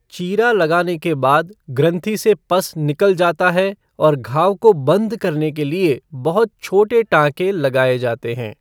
चीरा लगाने के बाद, ग्रंथि से पस निकल जाता है, और घाव को बंद करने के लिए बहुत छोटे टाँके लगाए जाते हैं।